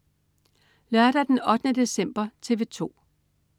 Lørdag den 8. december - TV 2: